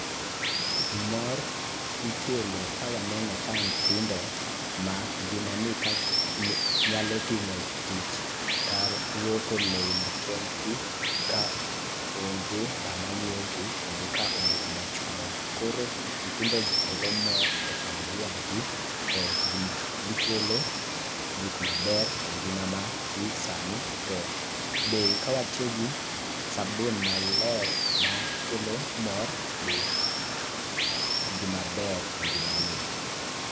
Mor ikelo ka waneno ka nyithindo ma ngimani nyalo timo tich kaluoko lewni kendgi kaonge ng'ama ng'iyogi kendo ka onge ng'ama chunogi. Koro nyithindogi kelo mor e familia gi to gikelo gik maber engima madhi sani be kawatiyo gi sabun maler makelo mor be gimaber engimani.